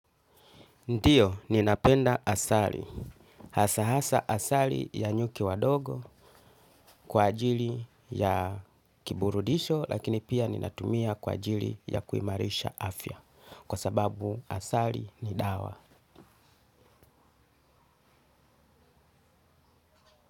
Ndio, ninapenda asali, hasa hasa asali ya nyuki wadogo kwa ajili ya kiburudisho lakini pia ninatumia kwa ajili ya kuimarisha afya kwa sababu asali ni dawa.